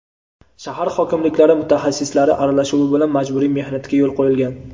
shahar hokimliklari mutaxassislari aralashuvi bilan majburiy mehnatga yo‘l qo‘yilgan.